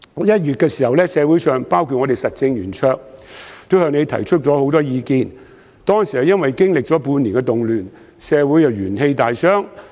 1月時，社會上許多人都向你提出意見，因為當時經歷了半年的動亂，社會元氣大傷。